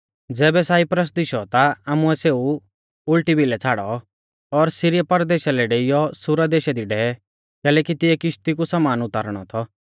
ज़ैबै साइप्रस दिशौ ता आमुऐ सेऊ उल़टी भिलै छ़ाड़ौ और सीरिया परदेशा लै डेइयौ सूरा देशा दी डेवै कैलैकि तिऐ किश्ती कु समान उतारणौ थौ